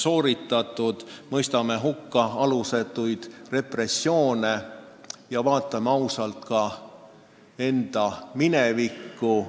Me mõistame hukka alusetud repressioonid ja vaatame ausalt ka enda minevikku.